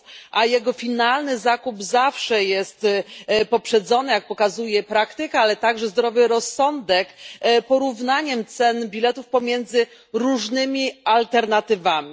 a jego finalny zakup zawsze jest poprzedzony jak pokazuje praktyka, ale także zdrowy rozsądek porównaniem cen biletów pomiędzy różnymi alternatywami.